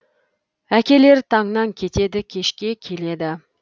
әкелер таңнан кетеді кешке келеді